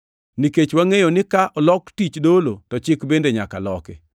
Nikech wangʼeyo ni ka olok tich dolo to chik bende nyaka loki.